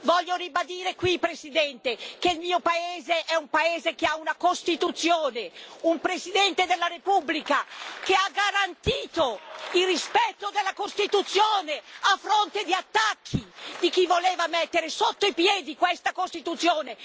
Voglio ribadire qui, signor Presidente, che il mio paese è un paese che ha una Costituzione, un Presidente della Repubblica che ha garantito il rispetto dalla Costituzione a fronte di attacchi di chi voleva mettere sotto i piedi questa Costituzione.